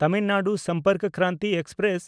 Tamil Nadu Sampark Kranti express